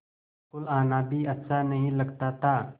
school आना भी अच्छा नहीं लगता था